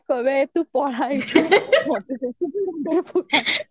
କହିବେ ଏ ତୁ ପଳା ଏଇଠୁ